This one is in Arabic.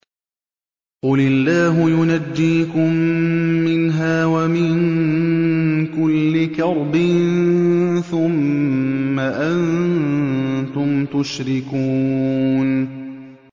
قُلِ اللَّهُ يُنَجِّيكُم مِّنْهَا وَمِن كُلِّ كَرْبٍ ثُمَّ أَنتُمْ تُشْرِكُونَ